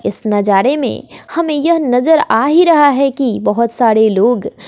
इस नजारे में--